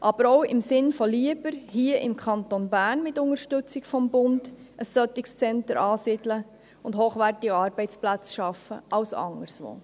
aber auch im Sinn von lieber hier im Kanton Bern mit Unterstützung des Bundes ein solches Zentrum ansiedeln und hochwertige Arbeitsplätze schaffen als anderswo.